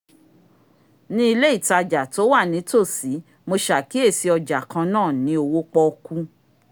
ní ilé ìtajà tó wà ní tòsí mo sàkíyèsí ọjà kan náà ní owo pọ́ọ́kú